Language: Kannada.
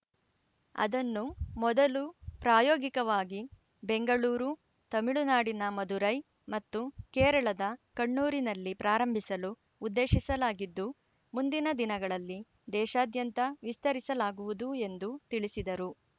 ಅದನ್ನು ಮೊದಲು ಪ್ರಾಯೋಗಿಕವಾಗಿ ಬೆಂಗಳೂರು ತಮಿಳುನಾಡಿನ ಮಧುರೈ ಮತ್ತು ಕೇರಳದ ಕಣ್ಣೂರಿನಲ್ಲಿ ಪ್ರಾರಂಭಿಸಲು ಉದ್ದೇಶಿಸಲಾಗಿದ್ದು ಮುಂದಿನ ದಿನಗಳಲ್ಲಿ ದೇಶಾದ್ಯಂತ ವಿಸ್ತರಿಸಲಾಗುವುದು ಎಂದು ತಿಳಿಸಿದರು